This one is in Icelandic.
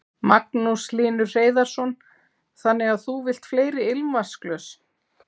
Magnús Hlynur Hreiðarsson: Þannig að þú vilt fleiri ilmvatnsglös?